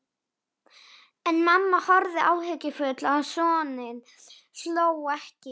En mamma horfði áhyggjufull á soninn, hló ekki.